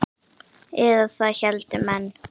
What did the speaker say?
Eða það héldu menn.